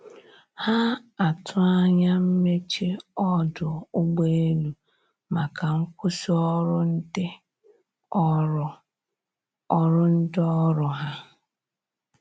Ha atụ anya mmeche ọdụ ụgbọ elụ maka nkwụsi ọrụ ndi ọrụ ọrụ ndi ọrụ ha